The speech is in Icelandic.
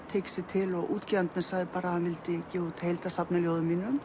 tóku sig til útgefandinn sagði að hann vildi gefa út heildarsafn ljóða